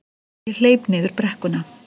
Ég hleyp niður brekkuna.